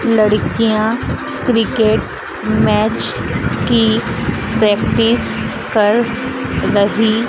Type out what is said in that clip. लड़कियां cricket match की practice कर रही--